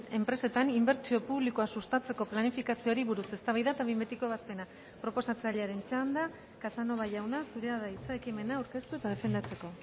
enpresetan inbertsio publikoa sustatzeko planifikazioari buruz eztabaida eta behin betiko ebazpena proposatzailearen txanda casanova jauna zurea da hitza ekimena aurkeztu eta defendatzeko